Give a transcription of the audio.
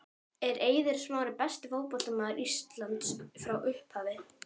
Er Eiður Smári besti fótboltamaður Íslands frá upphafi?